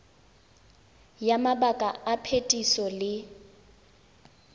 ya mabaka a phetiso le